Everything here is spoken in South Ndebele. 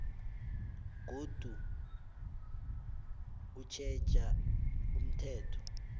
godu utjheja umthetho